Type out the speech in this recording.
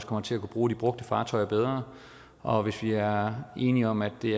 kommer til at kunne bruge de brugte fartøjer bedre og hvis vi er enige om at det